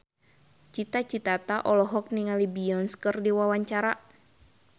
Cita Citata olohok ningali Beyonce keur diwawancara